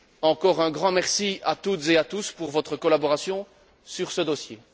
Encore un grand merci à toutes et à tous pour votre collaboration sur ce dossier.